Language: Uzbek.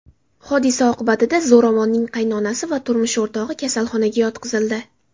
Hodisa oqibatida zo‘ravonning qaynonasi va turmush o‘rtog‘i kasalxonaga yotqizildi.